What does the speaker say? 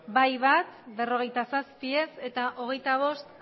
bai bat ez berrogeita zazpi abstentzioak hogeita bost